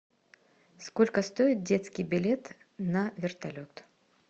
сколько стоит детский билет на вертолет